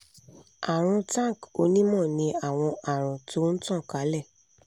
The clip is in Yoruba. arun tank onímọ̀ ní àwọn àrùn tó n tan kálẹ̀